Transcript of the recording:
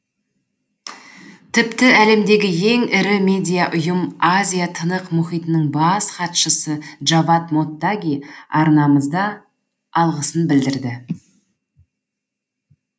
тіпті әлемдегі ең ірі медиа ұйым азия тынық мұхитының бас хатшысы джавад моттаги арнамызда алғысын білдірді